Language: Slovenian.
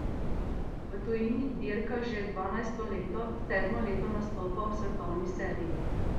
V tujini dirka že dvanajsto leto, sedmo leto nastopa v svetovni seriji.